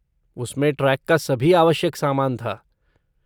उसमें ट्रेक का सभी आवश्यक सामान था।